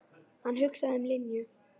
Hann hugsaði um Linju.